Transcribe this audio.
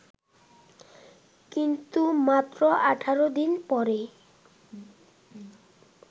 কিন্তু মাত্র ১৮ দিন পরই